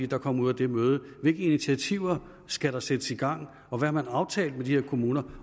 der kom ud af det møde hvilke initiativer skal der sættes i gang og hvad har man aftalt med de her kommuner